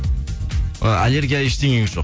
аллергия ештенеңіз жоқ